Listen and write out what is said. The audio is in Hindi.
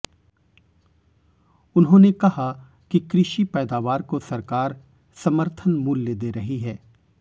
उन्होंने कहा कि कृषि पैदावार को सरकार समर्थन मूल्य दे रही है